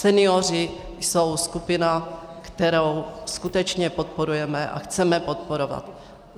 Senioři jsou skupina, kterou skutečně podporujeme a chceme podporovat.